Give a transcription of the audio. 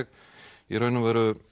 í raun og veru